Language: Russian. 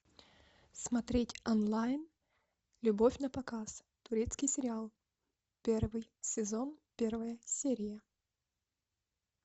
смотреть онлайн любовь напоказ турецкий сериал первый сезон первая серия